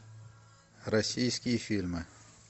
российские фильмы